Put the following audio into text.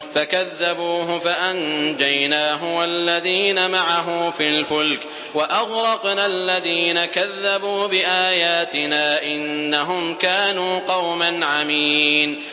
فَكَذَّبُوهُ فَأَنجَيْنَاهُ وَالَّذِينَ مَعَهُ فِي الْفُلْكِ وَأَغْرَقْنَا الَّذِينَ كَذَّبُوا بِآيَاتِنَا ۚ إِنَّهُمْ كَانُوا قَوْمًا عَمِينَ